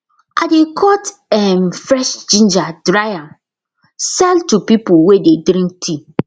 i dey cut um fresh ginger dry am sell to people wey dey drink tea